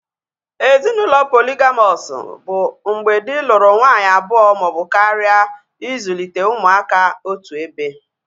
Ezinaụlọ poligamọs bụ mgbe dị lụrụ nwanyị abụọ maọbụ karịa ịzụlite ụmụaka otuebe